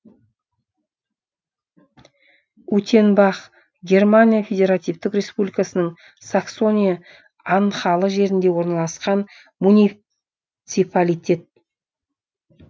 утенбах германия федеративтік республикасының саксония анхальт жерінде орналасқан муниципалитет